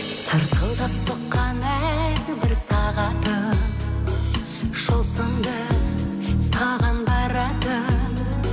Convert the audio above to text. сырқылдап соққан әрбір сағатым жол сынды саған баратын